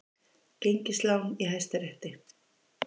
Gengislán í Hæstarétti